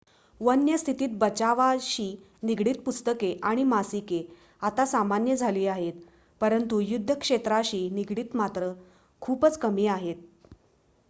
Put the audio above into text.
वन्य स्थितीत बचावाशी निगडीत पुस्तके आणि मासिके आता सामान्य झाली आहेत परंतु युद्ध क्षेत्राशी निगडीत मात्र खूपच कमी आहेत